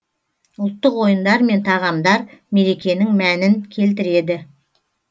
ұлттық ойындар мен тағамдар мерекенің мәнін келтіреді